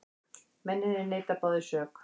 Mennirnir neita báðir sök